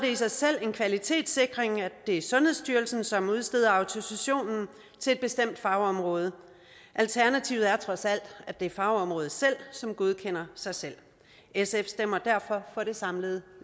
i sig selv en kvalitetssikring at det er sundhedsstyrelsen som udsteder autorisationen til et bestemt fagområde alternativet er trods alt at det er fagområdet selv som godkender sig selv sf stemmer derfor for det samlede